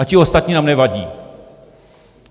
A ti ostatní nám nevadí.